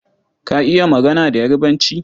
Ka iya magana da Yarbanci?